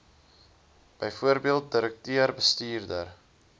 bv direkteur bestuurder